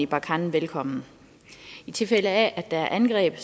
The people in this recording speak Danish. barkhane velkommen i tilfælde af at der er angreb